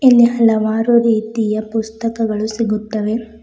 ಇಲ್ಲಿ ಹಲವಾರು ರೀತಿಯ ಪುಸ್ತಕಗಳು ಸಿಗುತ್ತವೆ.